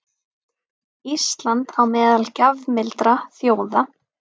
Ísland á meðal gjafmildra þjóða